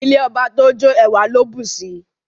Ilé ọba tó jó, ẹwà ló bùsi.